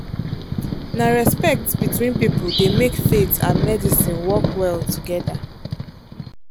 na respect between people dey make faith and medicine work well together.